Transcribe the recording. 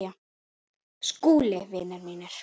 SKÚLI: Vinir mínir!